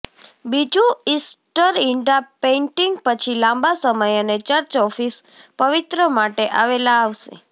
બીજું ઇસ્ટર ઇંડા પેઇન્ટિંગ પછી લાંબા સમય અને ચર્ચ ઓફ પવિત્ર માટે આવેલા આવશે